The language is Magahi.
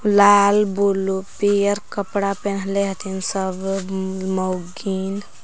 लाल ब्लू पियर कपड़ा पेन्हले हथिन सबो मौगीन।